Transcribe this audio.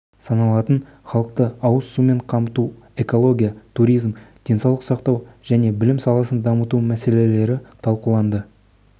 саналатын халықты ауыз сумен қамту экология туризм денсаулық сақтау және білім саласын дамыту мәселелері талқыланды